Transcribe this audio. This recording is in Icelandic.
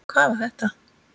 HVAÐ VAR ÞETTA?